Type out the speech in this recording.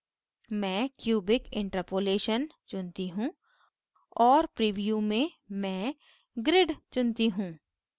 मैं cubic interpolation चुनती हूँ और preview में मैं grid चुनती हूँ